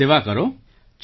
બસ સેવા કરો